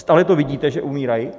Stále to vidíte, že umírají.